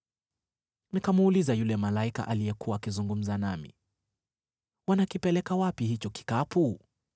Nikamuuliza yule malaika aliyekuwa akizungumza nami, “Wanakipeleka wapi hicho kikapu?”